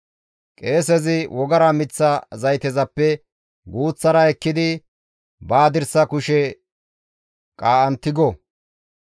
Qeesezi wogara miththa zaytezappe guuththara ekkidi ba hadirsa kushe qaa7an tigo.